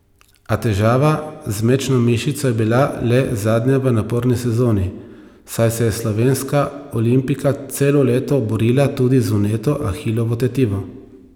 A težava z mečno mišico je bila le zadnja v naporni sezoni, saj se je slovenska olimpijka celo leto borila tudi z vneto ahilovo tetivo.